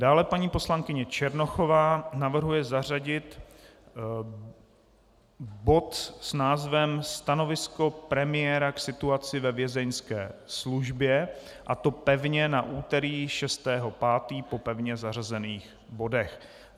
Dále paní poslankyně Černochová navrhuje zařadit bod s názvem Stanovisko premiéra k situaci ve Vězeňské službě, a to pevně na úterý 6. 5. po pevně zařazených bodech.